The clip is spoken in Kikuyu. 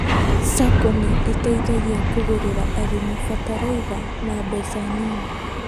SACCO nĩteithagia kũgũrĩra arĩmi bataraitha na mbeca nini